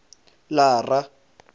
lara